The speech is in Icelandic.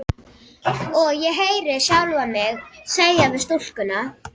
Og ég heyri sjálfa mig segja við stúlkuna: